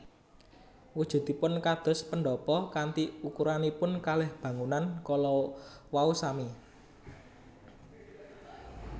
Wujudipun kados pendhapa kanthi ukuranipun kalih bangunan kala wau sami